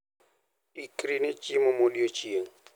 Ikri ne chiemo modiechieng'.